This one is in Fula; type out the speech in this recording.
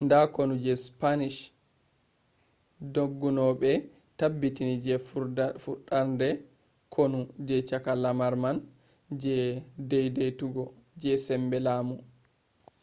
nda konu je spanish dongunoɓe tabbiti je furɗarde konu je cakka lamar man je dedeitugo je sembe lamu